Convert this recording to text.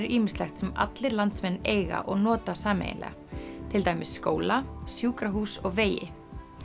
ýmislegt sem allir landsmenn eiga og nota sameiginlega til dæmis skóla sjúkrahús og vegi